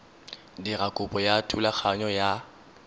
dira kopo ya thulaganyo ya